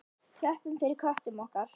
Klöppum fyrir köttum okkar!